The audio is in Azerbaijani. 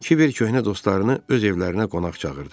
Kiber köhnə dostlarını öz evlərinə qonaq çağırdı.